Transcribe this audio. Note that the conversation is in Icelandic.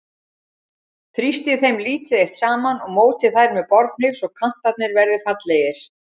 Þrýstið þeim lítið eitt saman og mótið þær með borðhníf svo kantarnir verði fallegir.